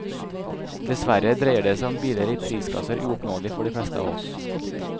Dessverre dreier det seg om biler i prisklasser uoppnåelig for de fleste av oss.